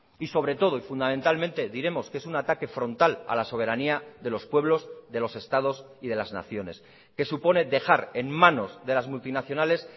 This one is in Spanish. y sobre todo y fundamentalmente diremos que es un ataque frontal a la soberanía de los pueblos de los estados y de las naciones que supone dejar en manos de las multinacionales